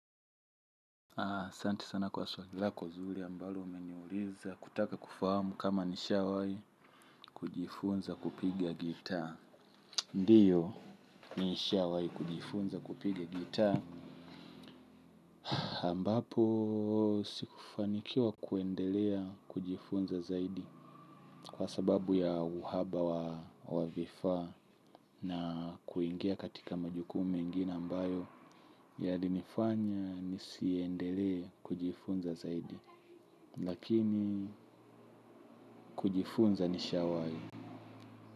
Ah, asanti sana kwa swali lako zuri ambalo umeniuliza kutaka kufahamu kama nishawahi kujifunza kupiga gitaa. Ndiyo, nishawahi kujifunza kupiga gitaa ambapo, sikufanikiwa kuendelea kujifunza zaidi kwa sababu ya uhaba wa vifaa na kuingia katika majukumu mengine ambayo yalinifanya nisiendelee kujifunza zaidi. Lakini kujifunza nishawahi.